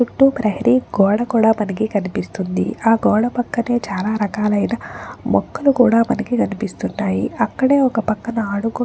చుట్టూ ప్రహరీ గోడ కూడా మనకు కనిపిస్తుంది. ఆ గోడ పక్కనే చాలా రకాలైన మొక్కలు కూడా మనకి కనిపిస్తున్నాయి. అక్కడే ఒక--